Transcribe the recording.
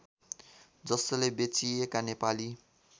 जसले बेचिएका नेपाली